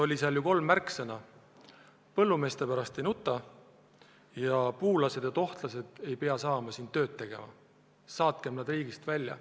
Selles oli ju kolm märksõna: põllumeeste pärast ei nuteta, puulased ja tohtlased ei pea saama siin tööd teha ning saatkem nad riigist välja.